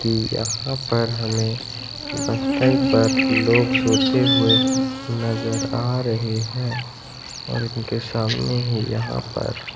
की यहां पर हमें बस स्टैंड पर लोग सोते हुए नजर आ रहे हैं और उनके सामने ही यहां पर--